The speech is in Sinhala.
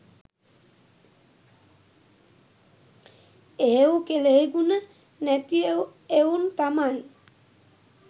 එහෙව් කෙලෙහිගුණ නැතිඑවුන් තමයි